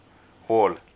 hall